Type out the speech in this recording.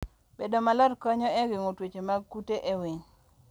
Bedo maler konyo e geng'o tuoche mag kute e winy.